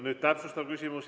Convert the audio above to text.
Nüüd täpsustav küsimus.